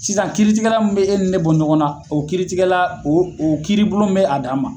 Sisan kiiritigɛla min be ne ni e bɔ ɲɔgɔn na o kiiritigɛla o o kiiribulon be a dan ma